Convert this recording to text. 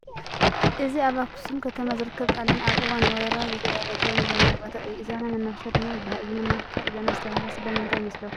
እዚ ኣብ ኣኽሱም ከተማ ዝርከብ ጣልያን ኣብ እዋን ወረራ ዘደራጀዎ መዘናግዒ ቦታ እዩ፡፡ ኢዛና መናፈሻ ድማ ይበሃል፡፡ እዚ መናፈሻ ኢዛና ዝተባህለ ስለ ምንታይ ይመስለኩም?